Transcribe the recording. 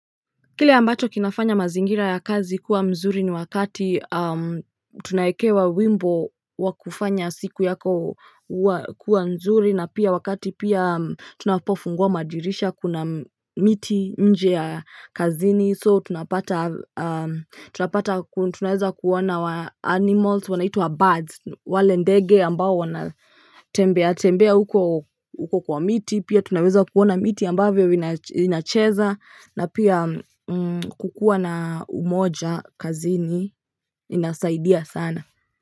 Kile ambacho kinafanya mazingira ya kazi kuwa mzuri ni wakati tunaekewa wimbo wa kufanya siku yako kuwa mzuri na pia wakati pia tunapofungua madirisha kuna miti nje ya kazini. So tunapata tunaweza kuona animals wanaituwa birds wale ndege ambao wanatembea tembea uko kwa miti pia tunapata kunaweza kuona miti ambavyo inacheza na pia kukua na umoja kazini inasaidia sana.